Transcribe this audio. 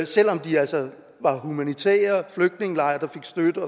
selv om de altså var humanitære flygtningelejre der fik støtte